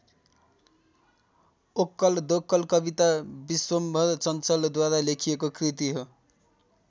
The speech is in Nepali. ओक्कल दोक्कल कविता विश्वम्भर चञ्चलद्वारा लेखिएको कृति हो।